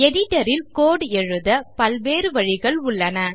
Editor ல் code எழுத பல்வேறு வழிகள் உள்ளன